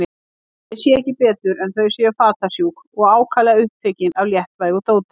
Ég sé ekki betur en þau séu fatasjúk og ákaflega upptekin af léttvægu dóti.